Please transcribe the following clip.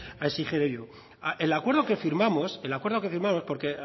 a exigirlo el acuerdo que firmamos el acuerdo que firmamos porque